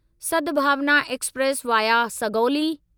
Sadbhavna express via Sugauli